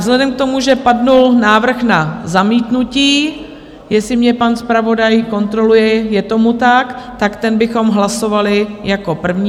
Vzhledem k tomu, že padl návrh na zamítnutí, jestli mě pan zpravodaj kontroluje, je tomu tak, tak ten bychom hlasovali jako první.